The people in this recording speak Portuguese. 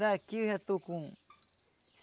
Daqui eu já estou com